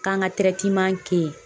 K'an ŋa ke yen